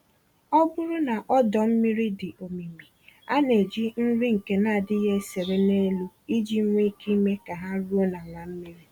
Ọbụrụ na ọdọ-mmiri dị omimi, a neji nri ndị nke n'adịghị esere n'elu iji nwe ike ime ka ha ruo n'ala mmiri.